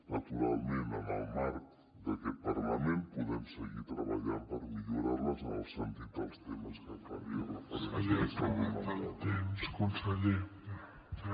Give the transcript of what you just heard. naturalment en el marc d’aquest parlament podem seguir treballant per millorar les en el sentit dels temes que farien referència a salut mental